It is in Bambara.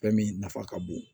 Fɛn min nafa ka bon